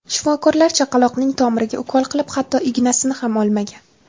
Shifokorlar chaqaloqning tomiriga ukol qilib, hatto ignasini ham olmagan.